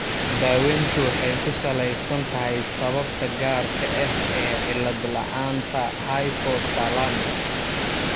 Daaweyntu waxay ku salaysan tahay sababta gaarka ah ee cillad la'aanta hypothalamic.